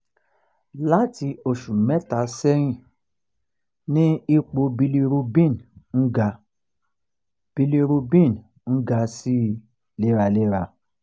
lati oṣù mẹ́ta sẹ́yìn ni ipò bilirubin ń ga bilirubin ń ga sí i léraléra